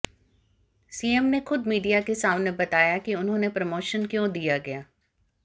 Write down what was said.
CM ने खुद media के सामने बताया कि उन्होंने प्रमोशन क्यों दिया गया